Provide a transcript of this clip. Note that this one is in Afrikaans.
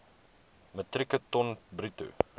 metrieke ton bruto